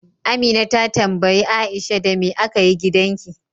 Amina ta tambayi Aisha, Da me aka yi gidanki?